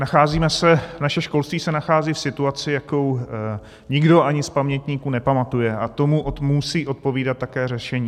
Nacházíme se, naše školství se nachází v situaci, jakou nikdo ani z pamětníků nepamatuje, a tomu musí odpovídat také řešení.